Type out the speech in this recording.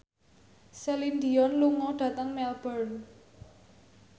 Celine Dion lunga dhateng Melbourne